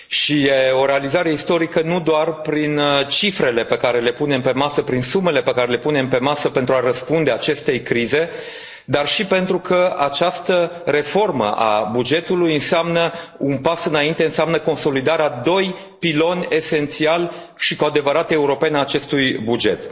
E o realizare istorică nu doar prin cifrele, prin sumele pe care le punem pe masă pentru a răspunde acestei crize, dar și pentru că această reformă a bugetului înseamnă un pas înainte, înseamnă consolidarea a doi piloni esențiali și cu adevărat europeni ai acestui buget.